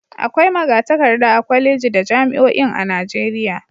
Akwai maga-takarda a kwalejeji da jami'oin a Najeriya.